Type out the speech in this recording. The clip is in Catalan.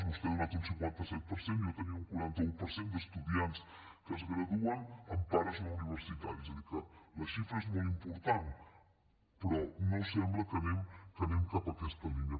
vostè ha donat un cinquanta set per cent jo tenia un quaranta un per cent d’estudiants que es graduen amb pares no universitaris és a dir que la xifra és molt important però no sembla que anem en aquesta línia